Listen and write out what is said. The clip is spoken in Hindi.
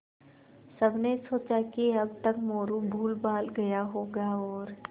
सबने सोचा कि अब तक मोरू भूलभाल गया होगा और